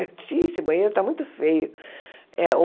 Eu disse, ih esse banheiro está muito feio.